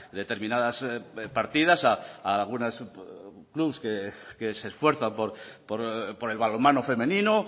determinadas partidas a algún asunto que se esfuerzan por el balonmano femenino